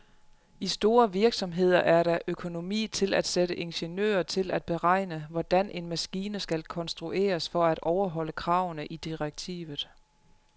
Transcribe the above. I store virksomheder er der økonomi til at sætte ingeniører til at beregne, hvordan en maskine skal konstrueres for at overholde kravene i direktivet.